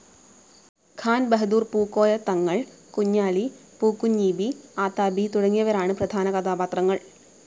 ഖാൻ ബഹദൂർ പൂക്കോയ തങ്ങൾ, കുഞ്ഞാലി, പൂക്കുഞ്ഞീബി ആതാബി തുടങ്ങിയവരാണ് പ്രധാന കഥാപാത്രങ്ങൾ.